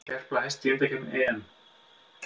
Gerpla hæst í undankeppni EM